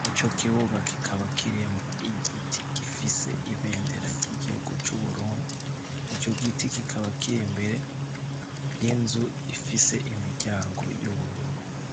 murico kibuga kikaba kirimwo igiti gifise ibendera ry'igihugu c'u Burundi, ico giti kikaba kiri imbere y'inzu ifise imiryango y'ubururu.